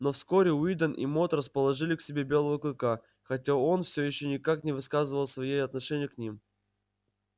но вскоре уидон и мод расположили к себе белого клыка хотя он все ещё никак не выказывал своею отношения к ним